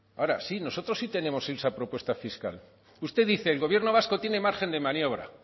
ahora sí nosotros sí tenemos esa propuesta fiscal usted dice el gobierno vasco tiene margen de maniobra